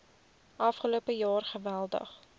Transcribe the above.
afgelope jaar geweldig